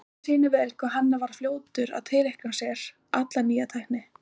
Þetta sýnir vel hvað hann var fljótur að tileinka sér alla nýja tækni.